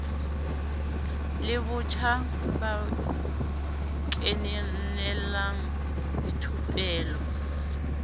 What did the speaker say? la batjha ba kenelang dithupelo